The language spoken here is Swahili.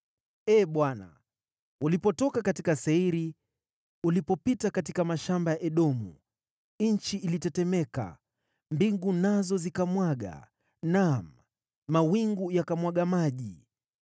“Ee Bwana , ulipotoka katika Seiri, ulipopita katika mashamba ya Edomu, nchi ilitetemeka, mbingu nazo zikamwaga, naam, mawingu yakamwaga maji.